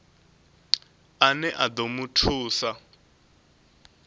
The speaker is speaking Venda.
ane a ḓo mu thusa